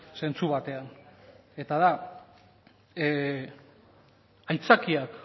zentzu batean eta da aitzakiak